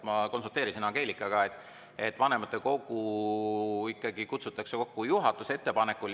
Ma konsulteerisin Angelikaga, et vanematekogu kutsutakse kokku juhatuse ettepanekul.